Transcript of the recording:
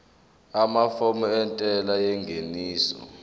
amafomu entela yengeniso